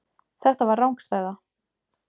Þetta var rangstæða.